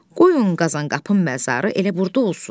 Qoyun Qazanqapının məzarı elə burda olsun.